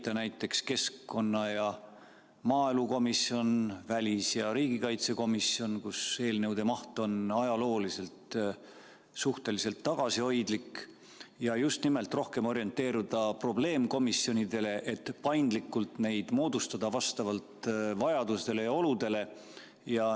Liita näiteks keskkonna- ja maaelukomisjon, välis- ja riigikaitsekomisjon, kus eelnõude maht on ajalooliselt suhteliselt tagasihoidlik, ja just nimelt rohkem orienteeruda probleemkomisjonidele, et paindlikult neid moodustada vastavalt vajadustele ja oludele.